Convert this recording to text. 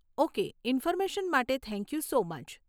Okay information માટે thank you so much.